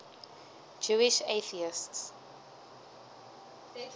jewish atheists